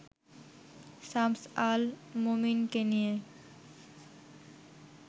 শামস আল মোমীনকে নিয়ে